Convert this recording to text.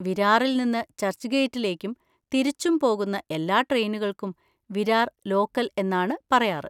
വിരാറിൽ നിന്ന് ചർച്ച്ഗേറ്റിലേക്കും തിരിച്ചും പോകുന്ന എല്ലാ ട്രെയിനുകൾക്കും വിരാർ ലോക്കൽ എന്നാണ് പറയാറ്.